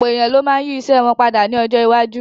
Ọ̀pọ̀ èèyàn ló ma yí ìṣe wọn padà ní ọjọ́ iwájú